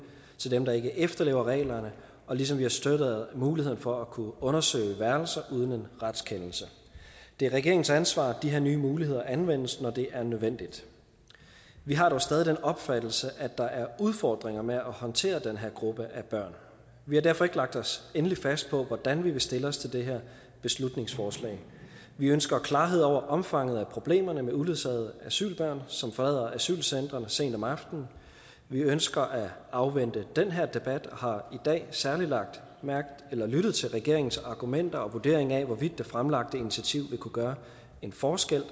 til dem der ikke efterlever reglerne og ligesom vi har støttet muligheden for at kunne undersøge værelser uden en retskendelse det er regeringens ansvar at de her nye muligheder anvendes når det er nødvendigt vi har dog stadig den opfattelse at der er udfordringer med at håndtere den her gruppe af børn vi har derfor ikke lagt os endeligt fast på hvordan vi vil stille os til det her beslutningsforslag vi ønsker klarhed over omfanget af problemerne med uledsagede asylbørn som forlader asylcentrene sent om aftenen og vi ønsker at afvente den her debat og har i dag særlig lyttet til regeringens argumenter og vurdering af hvorvidt det fremlagte initiativ vil kunne gøre en forskel